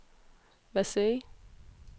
Versailles